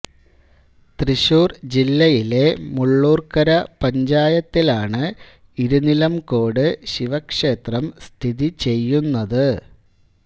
തൃശൂർ ജില്ലയിലെ മുള്ളൂർക്കര പഞ്ചായത്തിലാണ് ഇരുനിലംകോട് ശിവക്ഷേത്രം സ്ഥിതി ചെയ്യുന്നത്